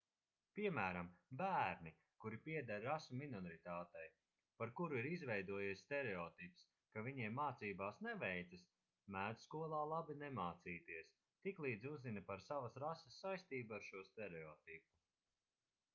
piemēram bērni kuri pieder rasu minoritātei par kuru ir izveidojies stereotips ka viņiem mācībās neveicas mēdz skolā labi nemācīties tiklīdz uzzina par savas rases saistību ar šo stereotipu